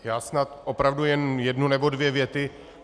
Já snad opravdu jen jednu nebo dvě věty.